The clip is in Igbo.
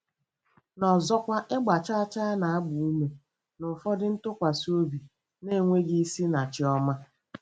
Ọzọkwa, ịgba chaa chaa na-agba ume n'ụfọdụ ntụkwasị obi na-enweghị isi na chi ọma.